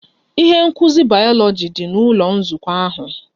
Ihe nkuzi bayoloji dị n'ụlọ nzukọ ahụ